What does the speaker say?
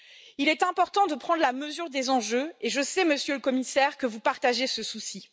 Il est important de prendre la mesure des enjeux et je sais, Monsieur le Commissaire, que vous partagez ce souci.